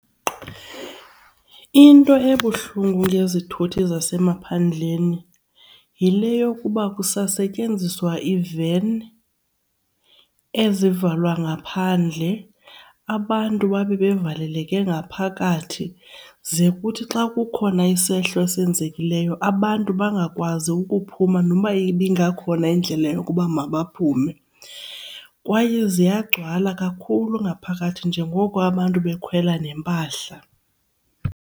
Into ebuhlungu ngezithuthi zasemaphandleni yile yokuba kusasetyenziswa iiven ezivalwa ngaphandle abantu babe bevaleleke ngaphakathi. Ze kuthi xa kukhona isehlo esenzekileyo abantu bangakwazi ukuphuma noba ibingakhona indlela yokuba mabaphume, kwaye ziyagcwala kakhulu ngaphakathi njengoko abantu bekhwela neempahla.